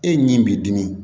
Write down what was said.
E min b'i dimi